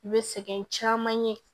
I bɛ sɛgɛn caman ye